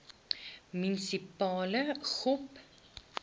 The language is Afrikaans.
munisipale gop